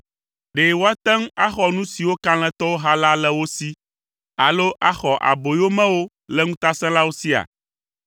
Ɖe woate ŋu axɔ nu siwo kalẽtɔwo ha la le wo si alo axɔ aboyomewo le ŋutasẽlawo sia?